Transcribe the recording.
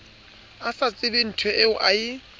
a sa tsebenthoeo a e